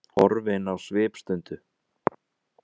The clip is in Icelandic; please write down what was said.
Horfin á svipstundu.